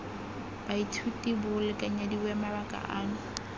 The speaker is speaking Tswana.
baithuti bo lekanyediwe mabaka ano